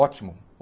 Ótimo.